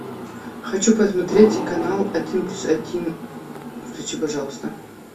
хочу посмотреть канал один плюс один включи пожалуйста